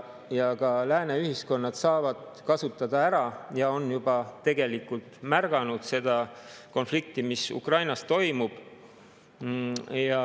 Ka lääne ühiskonnad saavad kasutada ära ja on juba tegelikult märganud seda konflikti, mis Ukrainas toimub.